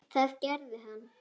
Það gerði hann.